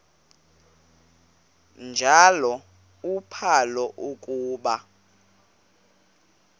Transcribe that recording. njalo uphalo akuba